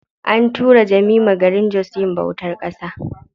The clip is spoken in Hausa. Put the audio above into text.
An tura Jemima garin jos yin bautar ƙasa.